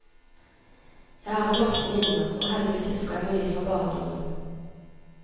Jeg har en masse minner, og heldigvis husker jeg mye fra barndommen.